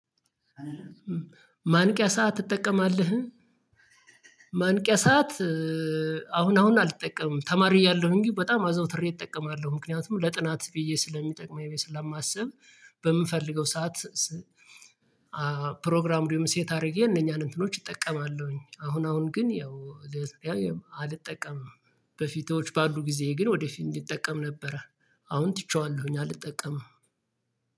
ማንቂያ ሰዓት ትጠቀማለህ? ማንቂያ ሰዓት አሁን አሁን አልጠቀምም ተማሪ እያለሁኝ በጣም አዘውትሬ እጠቀማለሁ ምክንያቱም ለጥናት ብዬ ስለሚጠቅመኝ ስለማስብ በምፈልገው ሰዓት ፕሮግራም እንዲሁም ሴት አድርጌ እነኛን እንትኖች እጠቀማለሁኝ አሁን አሁን ግን ያው አልጠቀምም በፊቶች ባሉ ጊዜ ግን ወደፊት እንዲጠቀም ነበረ አሁን ትቼዋለሁኝ አልጠቀምም